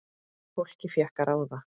Fólkið fékk að ráða.